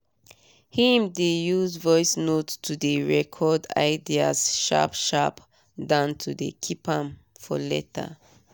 him dey use voice note dey record ideas sharp sharp dan to dey keep am for later